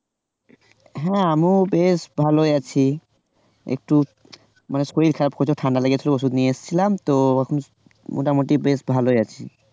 হ্যাঁ আমিও বেশ ভালোই আছি একটু শরীর খারাপ হয়েছিল ঠান্ডা লেগে ছিল ওষুধ নিয়ে এসেছিলাম তো এখন মোটামুটি ভালোই আছি।